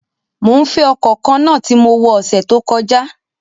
Mo nfe ọkọ kanna ti mo wọ ọsẹ to kọja!